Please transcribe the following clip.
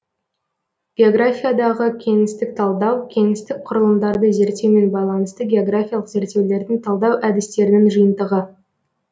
географиядағы кеңістік талдау кеңістіктік кұрылымдарды зерттеумен байланысты географиялық зерттеулердің талдау әдістерінің жиынтығы